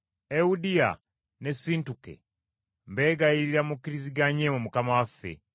Ewudiya ne Sintuke mbeegayirira mukkiriziganye mu Mukama waffe.